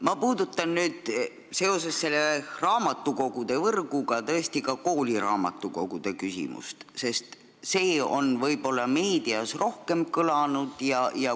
Ma puudutan seoses raamatukoguvõrgu teemaga ka kooliraamatukogude küsimust, sest see on meedias rohkem kõlanud.